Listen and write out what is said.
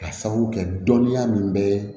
Ka sababu kɛ dɔnniya min bɛ